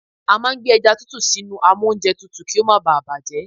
A máa ń gbé ẹja tútù sínú amóúnjẹtutù kí ó má baà bàjẹ́.